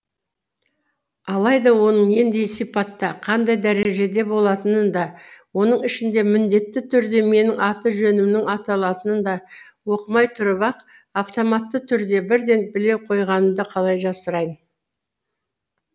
алайда оның нендей сипатта қандай дәрежеде болатынын да оның ішінде міндетті түрде менің аты жөнімнің аталатынын да оқымай тұрып ақ автоматты түрде бірден біле қойғанымды қалай жасырайын